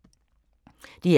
DR K